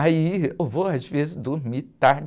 Aí eu vou às vezes dormir tarde.